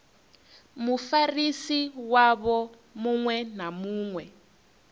mufarisi wavho muṅwe na muṅwe